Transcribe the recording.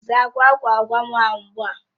Zaa agwugwa ahụ ugbu a!